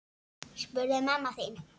spurði mamma þín.